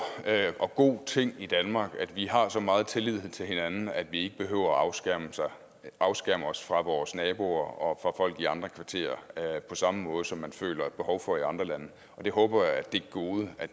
og god ting i danmark at vi har så meget tillid til hinanden at vi ikke behøver at afskærme afskærme os fra vores naboer og folk i andre kvarterer på samme måde som man føler behov for at gøre i andre lande og det håber jeg er et gode